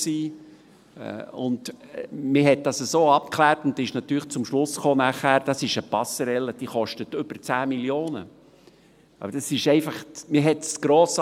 Man hat es so abgeklärt und ist nachher natürlich zum Schluss gekommen, dass es eine Passerelle ist, die über 10 Mio. Franken kostet.